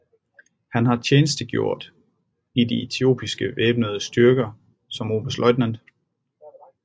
Han har tjenestegjort i de etiopiske væbnede styrker som oberstløjtnant